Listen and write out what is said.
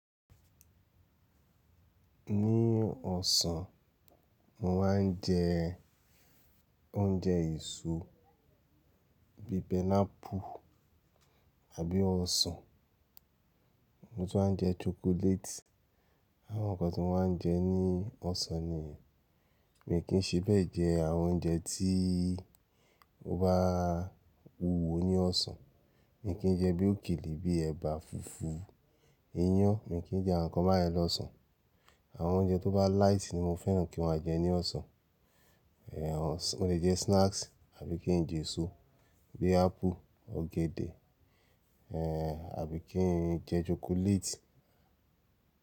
Ní ọ̀sán mo máa ń jẹ oúnjẹ èso bíi pineapple àbí ọsàn. Mo tún máa ń jẹ chocolate. Àwọn nǹkan tí mo máa ń jẹ ní ọ̀sán nìyẹn. Mi kì í ṣe bẹ́ẹ̀ jẹ àwọn oúnjẹ tí ó bá wúwo ní ọ̀sán, mi kì í jẹ bí òkèlè bíi ẹ̀bà, fùfú, iyán, mi kì í jẹ àwọn nǹkan báyẹn lọ́sàn-án. Àwọn oúnjẹ tó bá láìtì ni mo fẹ́ràn kí wọ́n máa jẹ ní ọ̀sán. Ehn, mo lè jẹ snacks àbí kí n jẹ èso bíi apple, ọ̀gẹ̀dẹ̀, ehn, àbí kí n jẹ chocolate.